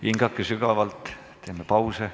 Hingame sügavalt, teeme pause.